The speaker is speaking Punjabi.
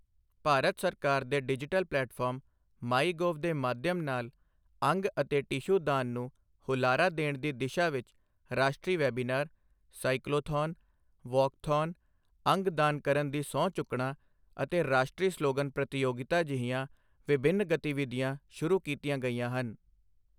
ਭਾਰਤ ਸਰਕਾਰ ਦੇ ਡਿਜੀਟਲ ਪਲੈਟਫਾਰਮ, ਮਾਈਗੋਵ ਦੇ ਮਾਧਿਅਮ ਨਾਲ ਅੰਗ ਅਤੇ ਟਿਸ਼ੂ ਦਾਨ ਨੂੰ ਹੁਲਾਰਾ ਦੇਣ ਦੀ ਦਿਸ਼ਾ ਵਿੱਚ ਰਾਸ਼ਟਰੀ ਵੈਬੀਨਾਰ, ਸਾਈਕਲੋਥੌਨ, ਵੌਕਥੌਨ, ਅੰਗ ਦਾਨ ਕਰਨ ਦੀ ਸਹੁੰ ਚੁੱਕਣਾ ਅਤੇ ਰਾਸ਼ਟਲੀ ਸਲੋਗਨ ਪ੍ਰਤੀਯੋਗਿਤਾ ਜਿਹੀਆਂ ਵਿਭਿੰਨ ਗਤੀਵਿਧੀਆਂ ਸ਼ੁਰੂ ਕੀਤੀਆਂ ਗਈਆਂ ਹਨ।